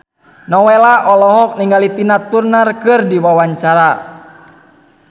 Nowela olohok ningali Tina Turner keur diwawancara